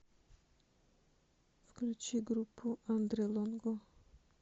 включи группу андре лонго